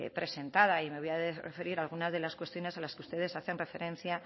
presentada y me voy a referir a algunas de las cuestiones a las que ustedes hacen referencia